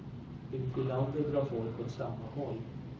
Ute i landet drar folk åt samma håll.